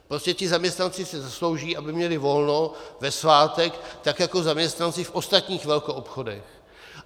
Prostě ti zaměstnanci si zaslouží, aby měli volno ve svátek tak, jako zaměstnanci v ostatních velkoobchodech.